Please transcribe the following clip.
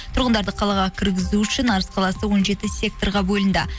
тұрғындарды қалаға кіргізу үшін арыс қаласы он жеті секторға бөлінді